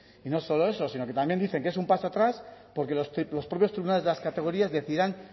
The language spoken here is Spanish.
y no solo eso sino que también dicen que es un paso atrás porque los propios tribunales de las categorías decidirán